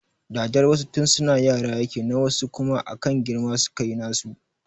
Dadar wasu tun suna yara yake na wasu kuma akan girma suka yi nasu